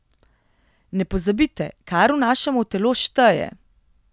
Ne pozabite, kar vnašamo v telo, šteje!